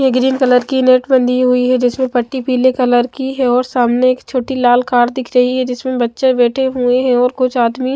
ने green colour की net बंधी हुई है जिसमें पट्टी पीले कलर की हैऔर सामने एक छोटी लाल कार्ड दिख रही है जिसमें बच्चे बैठे हुए हैं और कुछ आदमी--